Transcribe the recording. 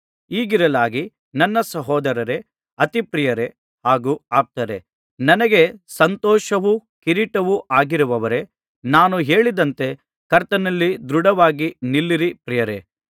ಹೀಗಿರಲಾಗಿ ನನ್ನ ಸಹೋದರರೇ ಅತಿ ಪ್ರಿಯರೇ ಹಾಗೂ ಆಪ್ತರೇ ನನಗೆ ಸಂತೋಷವೂ ಕಿರೀಟವೂ ಆಗಿರುವವರೇ ನಾನು ಹೇಳಿದಂತೆ ಕರ್ತನಲ್ಲಿ ದೃಢವಾಗಿ ನಿಲ್ಲಿರಿ ಪ್ರಿಯರೇ